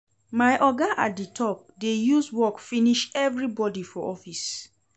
My oga at di top dey use work finish everybodi for office.